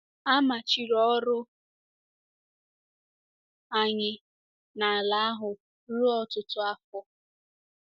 A machiri ọrụ anyị n’ala ahụ ruo ọtụtụ afọ.